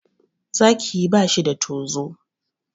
Zaki ba shi da tozo.